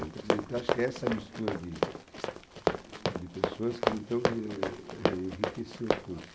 Então, quer dizer, acho que essa mistura de de pessoas então quer dizer, enriqueceu o curso.